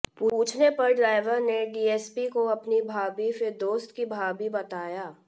पूछने पर ड्राइवर ने डीएसपी को अपनी भाभी फिर दोस्त की भाभी बताया